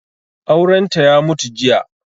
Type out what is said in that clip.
Aurenta ya mutu jiya.